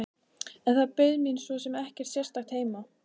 En það beið mín svo sem ekkert sérstakt heima.